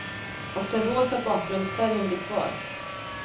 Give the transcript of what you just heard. Och den rosa bakgrundsfärgen blir kvar.